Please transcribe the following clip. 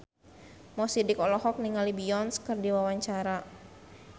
Mo Sidik olohok ningali Beyonce keur diwawancara